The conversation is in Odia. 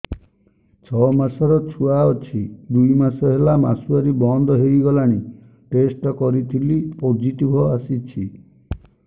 ଛଅ ମାସର ଛୁଆ ଅଛି ଦୁଇ ମାସ ହେଲା ମାସୁଆରି ବନ୍ଦ ହେଇଗଲାଣି ଟେଷ୍ଟ କରିଥିଲି ପୋଜିଟିଭ ଆସିଛି